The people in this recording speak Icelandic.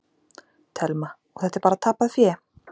Telma: Og þetta er bara tapað fé?